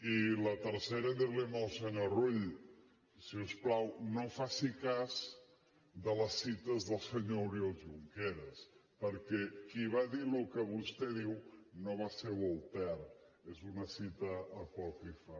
i la tercera dir li al senyor rull si us plau no faci cas de les cites del senyor oriol junqueras perquè qui va dir el que vostè diu no va ser voltaire és una cita apòcrifa